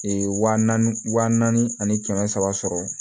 wa naani wa naani ani kɛmɛ saba